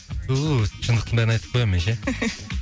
түү өстіп шындықтың бәрін айтып қоямын мен ше